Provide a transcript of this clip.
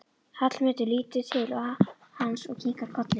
Hallmundur lítur til hans og kinkar kolli.